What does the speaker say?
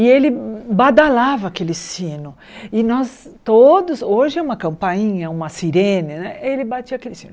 E ele badalava aquele sino, e nós todos, hoje é uma campainha, uma sirene né, ele batia aquele sino.